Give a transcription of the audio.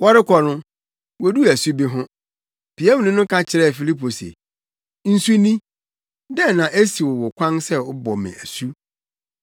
Wɔrekɔ no woduu asu bi ho. Piamni no ka kyerɛɛ Filipo se, “Nsu ni. Dɛn na esiw wo kwan sɛ wobɔ me asu?”